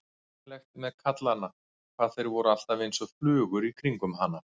Einkennilegt með kallana hvað þeir voru alltaf einsog flugur í kringum hana.